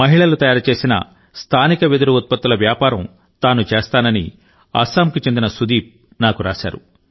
మహిళలు తయారుచేసిన స్థానిక వెదురు ఉత్పత్తుల వ్యాపారం తాను చేస్తానని అస్సాం కు చెందిన సుదీప్ నాకు రాశారు